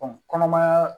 kɔnɔmaya